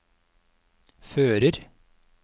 fører